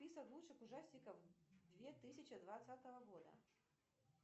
список лучших ужастиков две тысячи двадцатого года